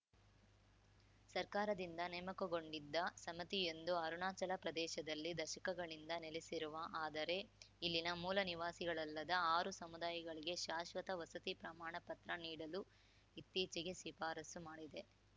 ಸರ್ಕಾರದಿಂದ ನೇಮಕಗೊಂಡದ್ದ ಸಮಿತಿಯೊಂದು ಅರುಣಾಚಲ ಪ್ರದೇಶದಲ್ಲಿ ದಶಕಗಳಿಂದ ನೆಲೆಸಿರುವ ಆದರೆ ಇಲ್ಲಿನ ಮೂಲ ನಿವಾಸಿಗಳಲ್ಲದ ಆರು ಸಮುದಾಯಗಳಿಗೆ ಶಾಶ್ವತ ವಸತಿ ಪ್ರಮಾಣ ಪತ್ರ ನೀಡಲು ಇತ್ತೀಚೆಗೆ ಶಿಫಾರಸು ಮಾಡಿದೆ